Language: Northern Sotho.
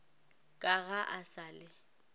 ka ga o sa le